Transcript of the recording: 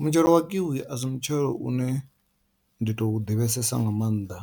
Mutshelo wa kiwi asi mutshelo une ndi tu ḓivhesesa nga maanḓa,